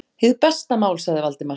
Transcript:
Hið besta mál- sagði Valdimar.